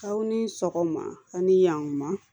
Aw ni sɔgɔma a ni yanma